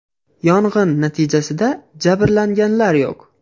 Yong‘in natijasida jabrlanganlar yo‘q.